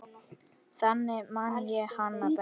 Þannig man ég hana best.